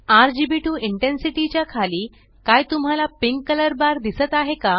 RGB to intensity च्या खाली काय तुम्हाला पिंक कलर बार दिसत आहे का